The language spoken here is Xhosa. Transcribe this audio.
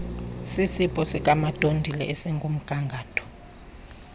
sisipho sikamadondile esikumgangatho